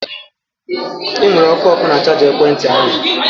Enwere ọkụ ọkụ na chaja ekwentị ahụ